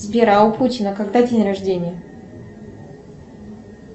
сбер а у путина когда день рождения